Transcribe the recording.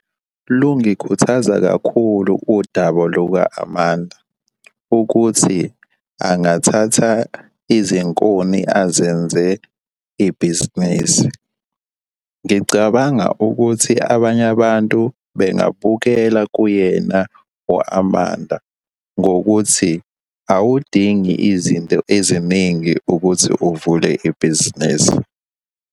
Lungikhuthaza kakhulu udaba luka-Amanda, ukuthi angathatha izinkuni azenze ibhizinisi. Ngicabanga ukuthi abanye abantu bengabukela kuyena u-Amanda ngokuthi awudingi izinto eziningi ukuthi uvule ibhizinisi.